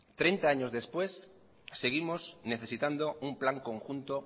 treinta años después seguimos necesitando un plan conjunto